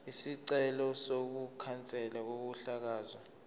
isicelo sokukhanselwa kokuhlakazwa